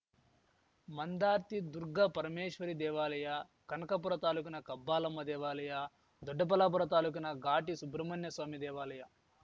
ಮಂದಾರ್ತಿ ದುರ್ಗಾ ಪರಮೇಶ್ವರಿ ದೇವಾಲಯ ಕನಕಪುರ ತಾಲ್ಲೂಕಿನ ಕಬ್ಬಾಲಮ್ಮ ದೇವಾಲಯ ದೊಡ್ಡಬಲ್ಲಾಪುರ ತಾಲೂಕಿನ ಘಾಟಿ ಸುಬ್ರಹ್ಮಣ್ಯಸ್ವಾಮಿ ದೇವಾಲಯ